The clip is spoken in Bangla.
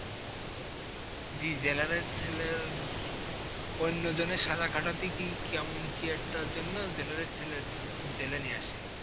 জি জেলারের সেলের ওইন্য জনের সাজা খাটাতে কি কেমন কি একটা জন্য, জেলারের লেসের জেলে নিয়ে আসে।